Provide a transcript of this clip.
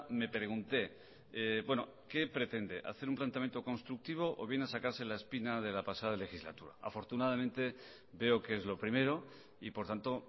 me pregunté qué pretende hacer un planteamiento constructivo o viene a sacarse la espina de la pasada legislatura afortunadamente veo que es lo primero y por tanto